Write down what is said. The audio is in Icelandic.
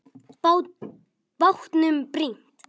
Bátnum brýnt.